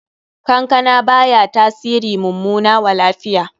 Kankana baya tasiri mummana wa lafiya.